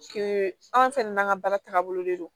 anw fɛnɛ n'an ka baara tagabolo de don